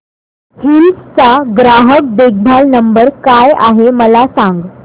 hills चा ग्राहक देखभाल नंबर काय आहे मला सांग